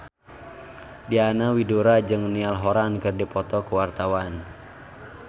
Diana Widoera jeung Niall Horran keur dipoto ku wartawan